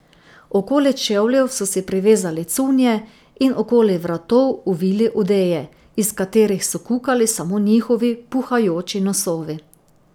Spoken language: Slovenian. Okoli čevljev so si privezali cunje in okoli vratov ovili odeje, iz katerih so kukali samo njihovi puhajoči nosovi.